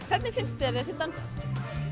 hvernig finnst þér þessir dansar